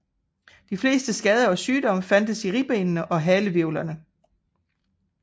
De fleste skader og sygomme fandtes i ribbenene og halehvirvlerne